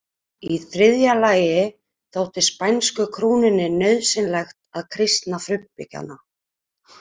Í þriðja lagi þótti spænsku krúnunni nauðsynlegt að kristna frumbyggjana.